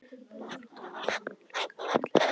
Blái klúturinn lá samankuðlaður á milli þeirra.